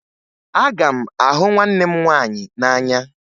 Aga m ahụ nwanne m nwaanyị n'anya